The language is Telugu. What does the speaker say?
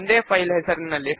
ఫామ్ ఇక్కడ ఉన్నది